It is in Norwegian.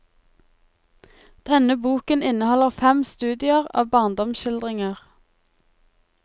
Denne boken inneholder fem studier av barndomsskildringer.